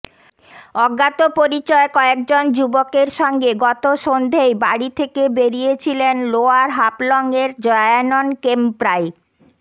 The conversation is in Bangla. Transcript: অজ্ঞাতপরিচয় কয়েক জন যুবকের সঙ্গে গত সন্ধেয় বাড়ি থেকে বেরিয়েছিলেন লোয়ার হাফলঙের জয়ানন কেম্প্রাই